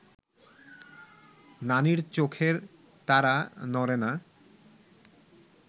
নানির চোখের তারা নড়ে না